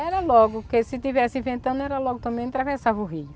Era logo, porque se tivesse ventando, era logo também, atravessava o rio.